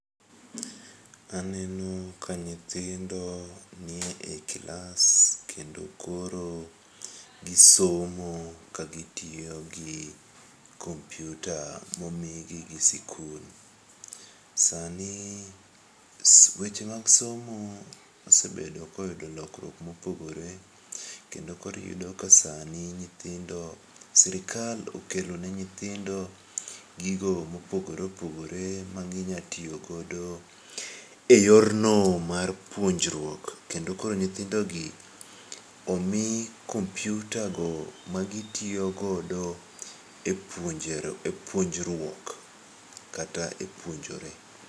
Aneno ka nyithindo nie klas kendo koro gisomo ka gitiyo gi kompyuta momigi gi sikul. Sani weche mag somo osebedo koyudo lokruok mopogore kendo koro iyudo ka sani nyithindo, sirikal okelone nyithindo gigo mopogore oogore maginya tiyogo e yorno mar puonjruok, kendo koro nyithindogi omi kompyutago magitiyo godo e puonjruok kata e puonjore.